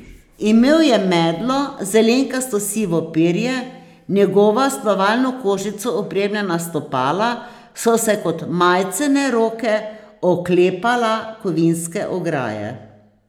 Imel je medlo, zelenkasto sivo perje, njegova s plavalno kožico opremljena stopala so se kot majcene roke oklepala kovinske ograje.